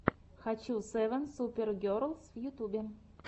хочу севен супер герлс в ютьюбе